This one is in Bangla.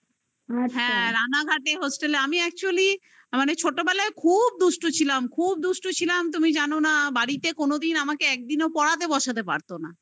হ্যা রানাঘাটে hostel আমি actually ছোটবেলায় খুব দুষ্টু ছিলাম খুব দুষ্ট ছিলাম তুমি জানো না বাড়িতে কোনদিন আমাকে একদিনও পড়াতে বসাতে পারতো না